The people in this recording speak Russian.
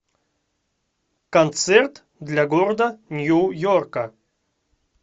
концерт для города нью йорка